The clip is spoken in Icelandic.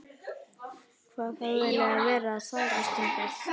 Hvað hafði hann eiginlega verið að þvælast hingað?